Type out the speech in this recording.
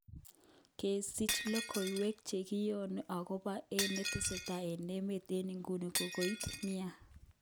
Kesich lokowek chekiyoni ogopo ne netesetai eng emet eng iguni kokouit nia.